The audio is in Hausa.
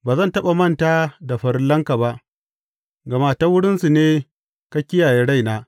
Ba zan taɓa manta da farillanka ba, gama ta wurinsu ne ka kiyaye raina.